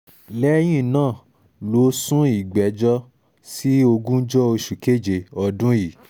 lẹ́yìn náà ló sún ìgbẹ́jọ́ sí ogúnjọ́ oṣù keje ọdún yìí